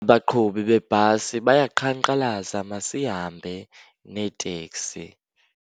Abaqhubi beebhasi bayaqhankqalaza masihambe neteksi.